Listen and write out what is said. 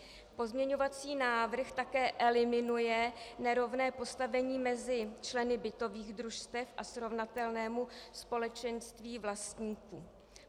Pozměňovací návrh také eliminuje nerovné postavení mezi členy bytových družstev a srovnatelného společenství vlastníků.